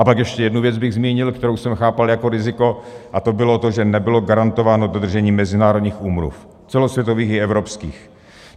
A pak ještě jednu věc bych zmínil, kterou jsem chápal jako riziko, a to bylo to, že nebylo garantováno dodržení mezinárodních úmluv - celosvětových i evropských.